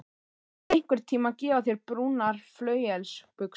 Ég skal einhverntíma gefa þér brúnar flauelsbuxur.